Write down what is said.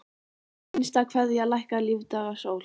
HINSTA KVEÐJA Lækkar lífdaga sól.